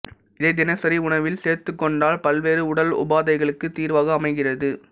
இதை தினசரி உணவில் சேர்த்துக்கொண்டால் பல்வேறு உடல் உபாதைகளுக்கு தீர்வாக அமைகிறது